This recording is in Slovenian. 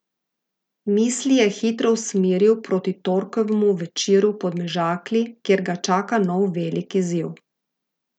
Mislil je hitro usmeril proti torkovemu večeru v Podmežakli, kjer ga čaka nov velik izziv.